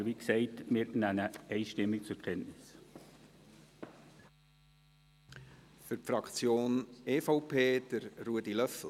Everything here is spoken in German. Aber wie gesagt: Wir nehmen ihn einstimmig zur Kenntnis.